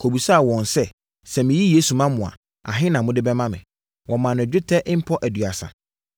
kɔbisaa wɔn sɛ, “Sɛ meyi Yesu ma mo a, ahe na mode bɛma me?” Wɔmaa no dwetɛ mpɔ aduasa